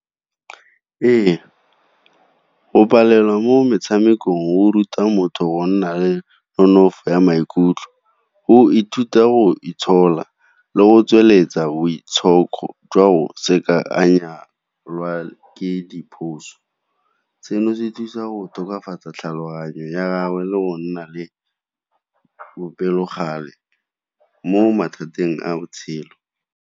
Ee, go palelwa mo metshamekong go ruta motho go nna le nonofo ya maikutlo, go ithuta go itshola, le go tsweletsa boitshoko jwa go se ka a seno se thusa go tokafatsa tlhaloganyo ya gagwe le go nna le bopelokgale mo mathateng a botshelo.